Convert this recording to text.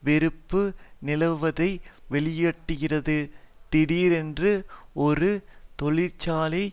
வெறுப்பு நிலவுவதை வெளியிட்டிருக்கிறது திடீரென்று ஒரு தொழிற்சாலை